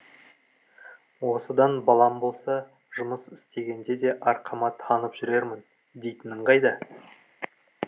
осыдан балам болса жұмыс істегенде де арқама танып жүрермін дейтінін қайда